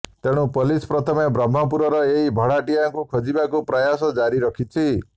ତେଣୁ ପୋଲିସ ପ୍ରଥମେ ବ୍ରହ୍ମପୁରର ଏହି ଭଡ଼ାଟିଆଙ୍କୁ ଖୋଜିବାକୁ ପ୍ରୟାସ ଜାରି ରଖିଛି